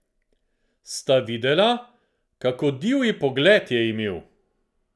Sta videla, kako divji pogled je imel?